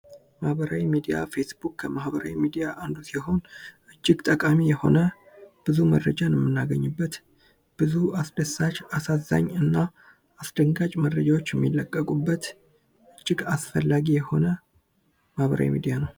ማህበራዊ ሚዲያ። ፌስቡክ ከማህበራዊ ሚዲያ አንዱ ሲሆን እጅግ ጠቃሚ የሆነ ብዙ መረጃ የምናገኝበት ብዙ አስደሳች፣ አሳዛኝ እና አስደንጋጭ መረጃዎች የሚለቀቁበት እጅግ አስፈላጊ የሆነ ማህበራዊ ሚዲያ ነው።